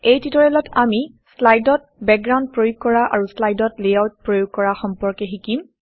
এই টিউটৰিয়েলত আমি শ্লাইডত বেকগ্ৰাউণ্ড প্ৰয়োগ কৰা আৰু শ্লাইডত লেআউট প্ৰয়োগ কৰা সম্পৰ্কে শিকিম